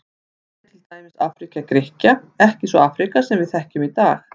Þannig er til dæmis Afríka Grikkja ekki sú Afríka sem við þekkjum í dag.